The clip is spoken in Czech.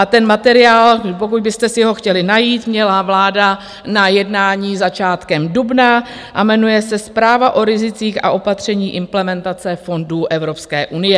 A ten materiál, pokud byste si ho chtěli najít, měla vláda na jednání začátkem dubna a jmenuje se Zpráva o rizicích a opatření implementace fondů Evropské unie.